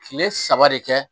Kile saba de kɛ